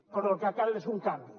però el que cal és un canvi